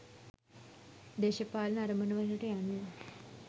දේශපාලන අරමුණුවලට යන්න